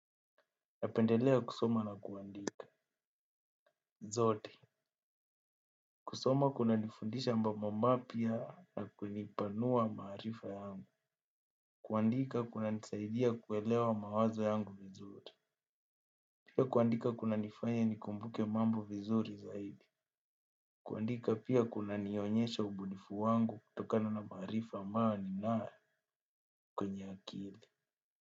Napendelea kusoma na kuandika. Zote kusoma kuna nifundisha mambo mapya na kunipanua maharifa yangu. Kuandika kuna nisaidia kuelewa mawazo yangu vizuri. Pia kuandika kuna nifanya nikumbuke mambo vizuri zaidi. Kuandika pia kuna nionyesha ubunifu wangu kutokana na maarifa ambao ninayo. Kwenye akili.